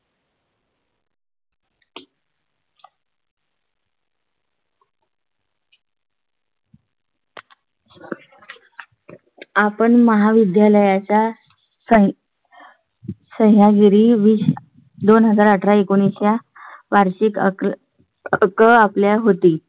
आपण महाविद्यालया चा सांग . सह्याद्री वीज दोन हजार अठरा एकोणावीस शे वार्षिक आपल आपल्या होती.